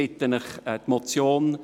Ich bitte Sie, meine Motion ...